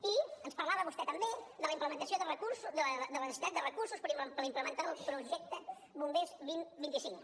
i ens parlava vostè també de la implementació de recursos de la necessitat de recursos per implementar el projecte bombers dos mil vint cinc